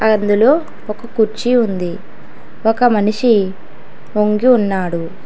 అందులో ఒక కుర్చీ ఉంది ఒక మనిషి వంగి ఉన్నాడు.